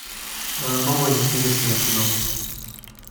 новое интересное кино